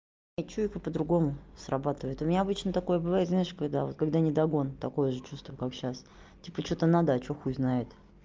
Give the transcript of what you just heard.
и чуйка по-другому срабатывает у меня обычно такое бывает знаешь когда вот когда недогон такое же чувство как сейчас типа что-то надо а что хуй знает